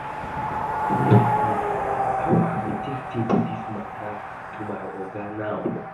Dis thing too weak me, how I go take table dis matter to my oga now?